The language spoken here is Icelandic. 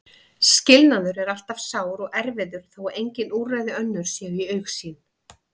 Skilnaður er alltaf sár og erfiður þó að engin úrræði önnur séu í augsýn.